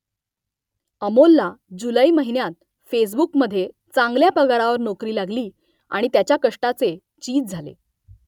अमोलला जुलै महिन्यात फेसबुकमध्ये चांगल्या पगारावर नोकरी लागली आणि त्याच्या कष्टाचे चीज झाले